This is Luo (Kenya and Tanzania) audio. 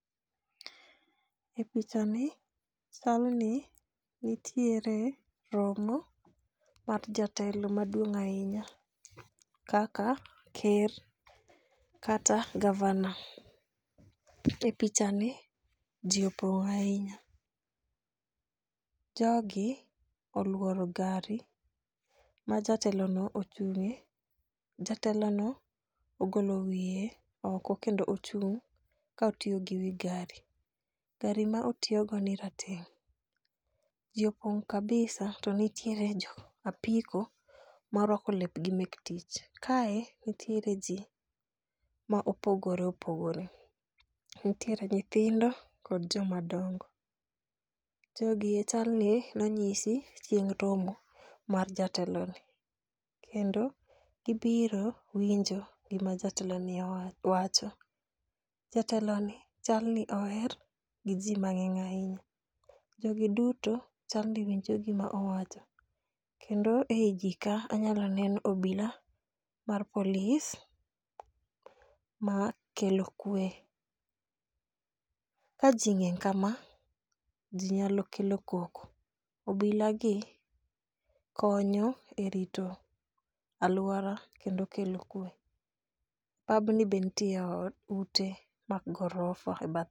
E pichani chal ni nitiere romo mar jotelo maduong' ahinya kaka ker kata gavana. E pichani ji opong'o ahinya. Jogi oluoro gari ma jatelono ochung'ie. Jatelono ogolo wiye oko kendo ochung' ka otiyo gi wi gari. Gari ma otiyogoni rateng' . Ji opong' kabisa to nitiere jo apiko moruako lepgi mek tich. Kae nitiere ji mopogore opogore. Nitiere nyithindo kod jomadongo. Jogie chalni nonyisi chieng' romo mar jateloni kendo gibiro winjo gima jateloni wacho. Jateloni chal ni oher giji mang'eny ahinya. Jogi duto chal ni winjo gima owacho, ei jogi anyalo neno obila mar polis makelo kwe. Ka ji ng'eny kama , ji nyalo kelo koko, obilagi konyo erito aluora kendo kelo kwe. Pabni be nitiere ot ute mag gorofa.